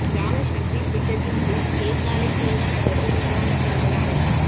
கிராமசக்தி திட்டத்தின் கீழ் கேகாலை தூங்கா நகரத்தின் நிர்மாணப் பணிகள் ஆரம்பம்